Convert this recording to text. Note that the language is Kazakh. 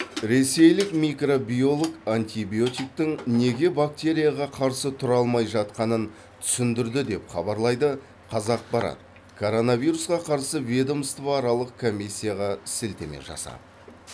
ресейлік микробиолог антибиотиктің неге бактерияға қарсы тұра алмай жатқанын түсіндірді деп хабарлайды қазақпарат коронавирусқа қарсы ведомствоаралық комиссияға сілтеме жасап